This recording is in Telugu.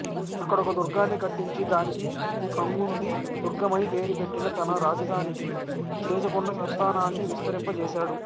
అక్కడొక దుర్గాన్ని కట్టించి దానికి కంగుంది దుర్గమని పేరు పెట్టి తన రాజధానికి చేసుకొని సంస్థానాన్ని విస్తరింప జేసాడు